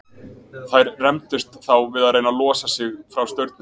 Þær rembdust þá við að reyna að losa sig frá staurnum.